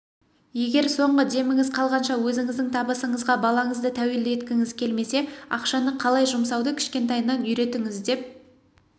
егер соңғы деміңіз қалғанша өзіңіздің табысыңызға балаңызды тәуелді еткіңіз келмесе ақшаны қалай жұмсауды кішкентайынан үйретіңіз деп